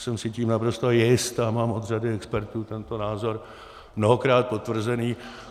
Jsem si tím naprosto jist a mám od řady expertů tento názor mnohokrát potvrzený.